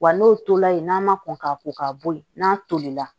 Wa n'o tola yen n'a ma kɔn ka ko ka bɔ yen n'a tolila